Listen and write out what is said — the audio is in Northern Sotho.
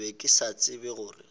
be ke sa tsebe gore